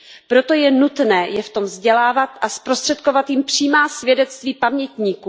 Proto je nutné je v tom vzdělávat a zprostředkovat jim přímá svědectví pamětníků.